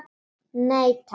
Nei, takk.